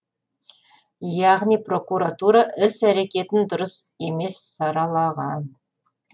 яғни прокуратура іс әрекетін дұрыс емес саралаған